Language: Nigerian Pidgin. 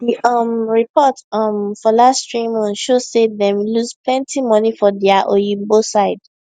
d um report um for last three months show say dem lose plenty money from dia oyinbo side